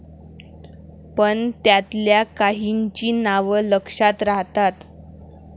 पण त्यातल्या काहींची नावं लक्षात राहतात.